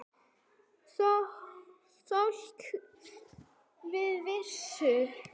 Kol og vistir.